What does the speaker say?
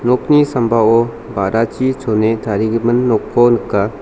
nokni sambao ba·rachi chone tarigimin nokko nika.